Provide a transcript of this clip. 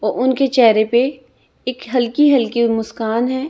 और उनके चेहरे पे एक हल्की हल्की मुस्कान है।